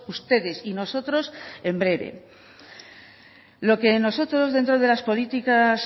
ustedes y nosotros en breve lo que nosotros dentro de las políticas